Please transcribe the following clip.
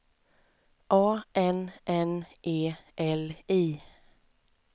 A N N E L I